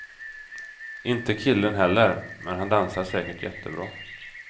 Inte killen heller, men han dansar säkert jättebra.